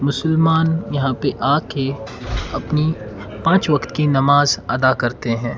मुसलमान यहां पे आ के अपनी पांच वक्त की नमाज अदा करते हैं।